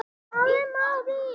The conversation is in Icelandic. Eftir stóð súlan ein.